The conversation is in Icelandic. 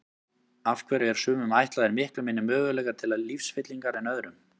Af hverju eru sumum ætlaðir miklu minni möguleikar til lífsfyllingar en öðrum?